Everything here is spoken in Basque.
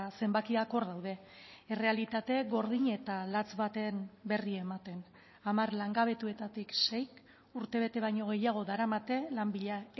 zenbakiak hor daude errealitate gordin eta latz baten berri ematen hamar langabetuetatik seik urte bete baino gehiago daramate lan bila